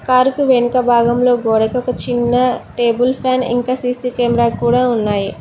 Car కు వెనక భాగంలో గోడకు ఒక చిన్న టేబుల్ ఫ్యాన్ ఇంకా సీసీ కేమ్రా కూడా ఉన్నాయి.